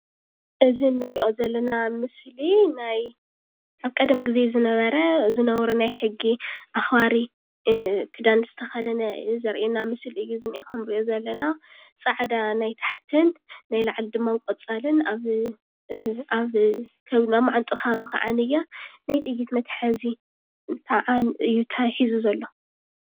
እዚ ንርኦ ዘለና ምስሊ ናይ ኣብ ቀደም ግዜ ዝነበረ ዝነበሩ ሕጊ ኣክባሪ ክዳን ዝተከደነ ዘርኤና ምስሊ እዩ ዝነኤ። ከም ንሪኦ ዘለና ፃዕዳ ናይ ታሕትን ናይ ላዕሊ ድማ ቆፃልን ኣብ መዓንጡኡ ከባቢ ከዓነየ ናይ ጥይት መትሓዚ እዩ ሒዙ ዘሎ።